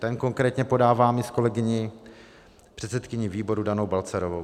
Ten konkrétně podávám i s kolegyní, předsedkyní výboru Danou Balcarovou.